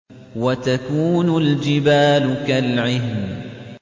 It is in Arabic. وَتَكُونُ الْجِبَالُ كَالْعِهْنِ